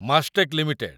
Mastek limited